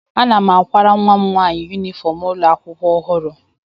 Ana m akwara nwa m nwaanyị yunifọm ụlọ akwụkwọ ọhụrụ